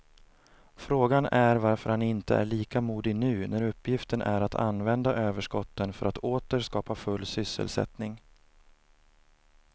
Frågan är varför han inte är lika modig nu när uppgiften är att använda överskotten för att åter skapa full sysselsättning.